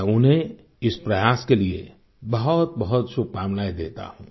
मैं उन्हें इस प्रयास के लिए बहुतबहुत शुभकामनाएँ देता हूँ